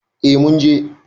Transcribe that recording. Eh mun je.